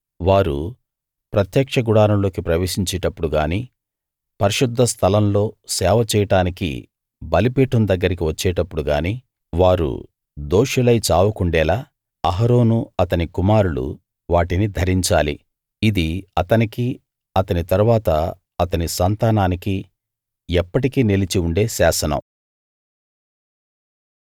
వారు ప్రత్యక్ష గుడారంలోకి ప్రవేశించేటప్పుడు గానీ పరిశుద్ధస్థలం లో సేవ చేయడానికి బలిపీఠం దగ్గరికి వచ్చేటప్పుడు గానీ వారు దోషులై చావకుండేలా అహరోను అతని కుమారులు వాటిని ధరించాలి ఇది అతనికి అతని తరువాత అతని సంతానానికి ఎప్పటికీ నిలిచి ఉండే శాసనం